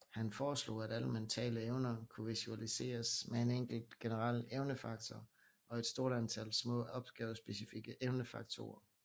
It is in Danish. Han foreslog at alle mentale evner kunne visualiseres med en enkelt generel evnefaktor og et stort antal små opgavespecifikke evnefaktorer